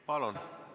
Palun!